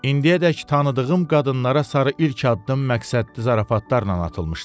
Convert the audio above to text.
İndiyədək tanıdığım qadınlara sarı ilk addım məqsədli zarafatlarla atılmışdı.